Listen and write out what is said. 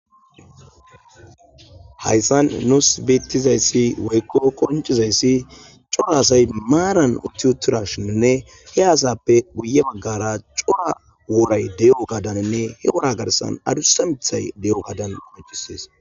Hayssan nuus beettizayssi woykko koncizayssi cora asay maaran utiutura shininne he aasappe guye baggara cora wooray de'o gadanenne he wora garsan adussa mithay de'o gadan maccisees.